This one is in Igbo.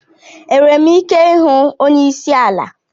Enwere m ike ịhụ onye isi ala?